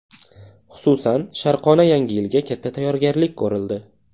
Xususan, Sharqona yangi yilga katta tayyorgarlik ko‘rildi.